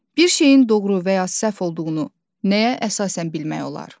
Bir şeyin doğru və ya səhv olduğunu nəyə əsasən bilmək olar?